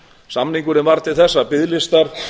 samningurinn varð til þess að biðlistar